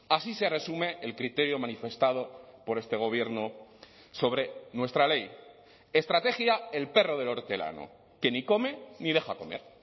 así se resume el criterio manifestado por este gobierno sobre nuestra ley estrategia el perro del hortelano que ni come ni deja comer